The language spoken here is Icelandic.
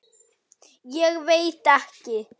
Ég veit ekki?